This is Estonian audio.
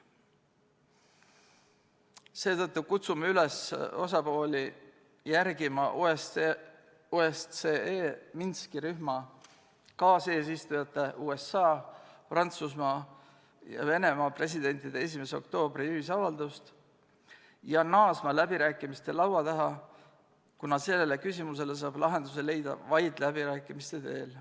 Seetõttu kutsume osapooli üles järgima OSCE Minski rühma kaaseesistujate USA, Prantsusmaa ja Venemaa presidendi 1. oktoobri ühisavaldust ja naasma läbirääkimiste laua taha, kuna sellele küsimusele saab lahenduse leida vaid läbirääkimiste teel.